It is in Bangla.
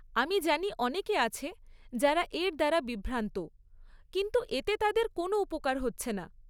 আমি জানি অনেকে আছে যারা এর দ্বারা বিভ্রান্ত, কিন্তু এতে তাদের কোনও উপকার হচ্ছে না।